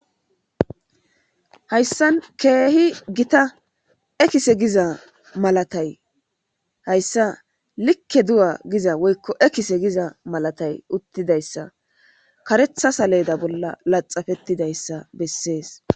hayssan keehi gita ekise giza malatay hayssa likke du7a giza woykko ekise giza malatay uttidayssa karetha saleeda bolla laxafettidayssa bessees